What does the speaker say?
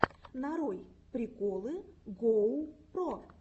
нарой приколы гоу про